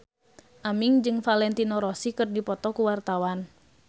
Aming jeung Valentino Rossi keur dipoto ku wartawan